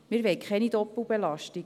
Wir wollen keine Doppelbelastungen.